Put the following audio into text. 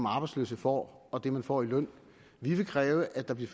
arbejdsløse får og det man får i løn vi vil kræve at der bliver